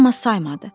Amma saymadı.